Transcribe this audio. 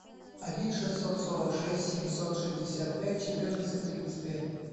один шестьсот сорок шесть семьсот шестьдесят пять четырнадцать тридцать пять